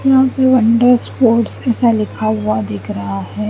यहा पे wonder sports ऐसा लिखा हुआ दिख रहा है।